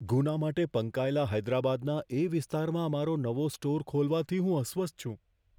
ગુના માટે પંકાયેલા હૈદરાબાદના એ વિસ્તારમાં અમારો નવો સ્ટોર ખોલવાથી હું અસ્વસ્થ છું.